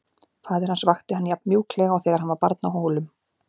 Faðir hans vakti hann jafn mjúklega og þegar hann var barn á Hólum.